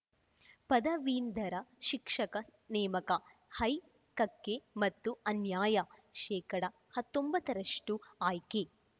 ಪದವೀಧರ ಶಿಕ್ಷಕ ನೇಮಕ ಹೈಕಕ್ಕೆ ಮತ್ತೆ ಅನ್ಯಾಯ ಶೇಕಡಾ ಹತ್ತೊಂಬತ್ತ ರಷ್ಟುಆಯ್ಕೆ